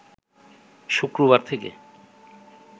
শুক্রবার থেকে